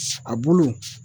a bulu